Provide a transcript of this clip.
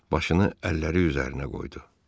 Başını əlləri üzərinə qoydu.